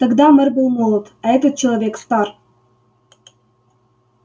тогда мэр был молод а этот человек стар